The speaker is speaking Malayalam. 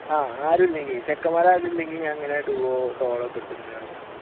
ആഹ് ആരുമില്ലെങ്കിൽ ചെക്കന്മാർ ആരെങ്കിലുമുണ്ടെങ്കിൽ ഞാൻ ഇങ്ങനെ duo, solo എടുത്ത് ഇങ്ങനെ കളിക്കും.